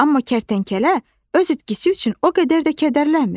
Amma kərtənkələ öz itkisi üçün o qədər də kədərlənmir.